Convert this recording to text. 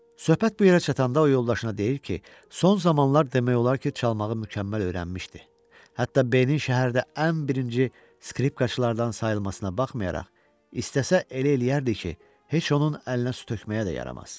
Söhbət bu yerə çatanda o yoldaşına deyir ki, son zamanlar demək olar ki, çalmağı mükəmməl öyrənmişdi, hətta B-nin şəhərdə ən birinci skripkaçalardan sayılmasına baxmayaraq, istəsə elə eləyərdi ki, heç onun əlinə su tökməyə də yaramaz.